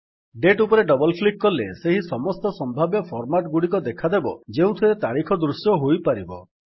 date ଉପରେ double click କଲେ ସେହି ସମସ୍ତ ସମ୍ଭାବ୍ୟ ଫର୍ମାଟ୍ ଗୁଡିକ ଦେଖାଦେବ ଯେଉଁଥିରେ ତାରିଖ ଦୃଶ୍ୟ ହୋଇପାରିବ